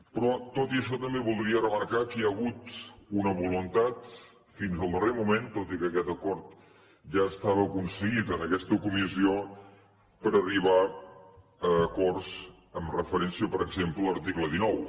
però tot i això també voldria remarcar que hi ha hagut una voluntat fins al darrer moment tot i que aquest acord ja estava aconseguit en aquesta comissió per arribar a acords amb referència per exemple a l’article dinou